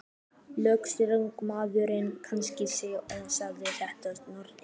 Lögreglumaðurinn kynnti sig og sagðist heita Snorri.